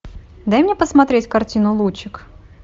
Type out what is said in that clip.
дай мне посмотреть картину лучик